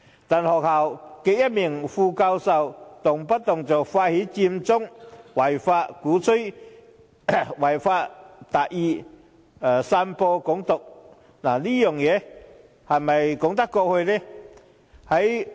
但該校的一名副教授卻動輒發動違法佔中、鼓吹"違法達義"、散播"港獨"，這樣說得過去嗎？